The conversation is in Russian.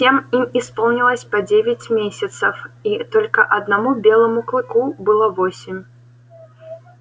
всем им исполнилось по девять десять месяцев и только одному белому клыку было восемь